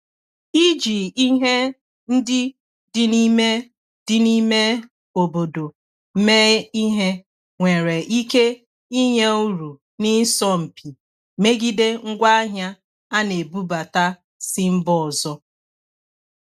Iji ihe ndị dị n'ime dị n'ime obodo mee ihe nwere ike inye uru n'isọ mpi megide ngwaahịa a na-ebubata si mba ọzọ.